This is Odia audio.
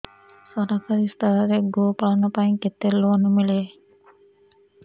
ସରକାରୀ ସ୍ତରରେ ଗୋ ପାଳନ ପାଇଁ କେତେ ଲୋନ୍ ମିଳେ